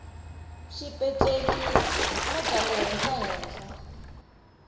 xipeceli na bya le henhlahenhla